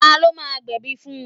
Ta ló máa gbẹ̀bi fun?